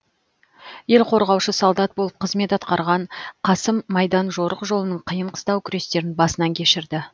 ел қорғаушы солдат болып қызмет атқарған қасым майдан жорық жолының қиын қыстау күрестерін басынан кешірді